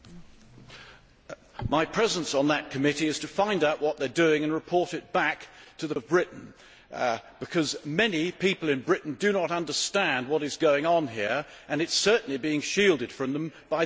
My presence on that committee is for finding out what it is doing and reporting it back to the people of Britain, because many people in Britain do not understand what is going on here and it is certainly being shielded from them by the Conservative Party.